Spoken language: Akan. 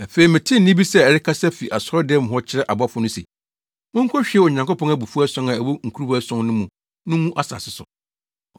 Afei metee nne bi sɛ ɛrekasa fi asɔredan mu hɔ kyerɛ abɔfo no se, “Monkohwie Onyankopɔn abufuw ason a ɛwɔ nkuruwa ason no mu no ngu asase so.”